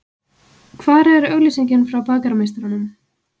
Hvar er auglýsingin frá Bakarameistaranum?